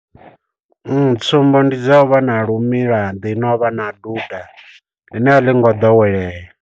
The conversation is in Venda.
Tsumbo ndi zwa uvha na lu milaḓi no u vha na duda ḽine a ḽi ngo ḓowelea.